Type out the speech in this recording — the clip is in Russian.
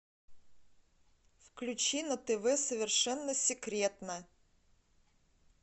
включи на тв совершенно секретно